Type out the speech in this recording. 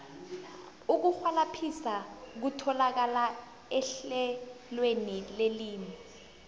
ukurhwalabhisa kutholakala ehlelweni lelimi